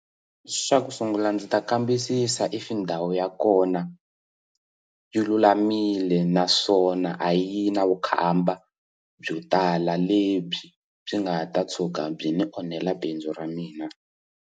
Xa ku sungula ndzi ta kambisisa if ndhawu ya kona yi lulamile naswona a yi na vukhamba byo tala lebyi byi nga ta tshuka byi ni onhela bindzu ra mina.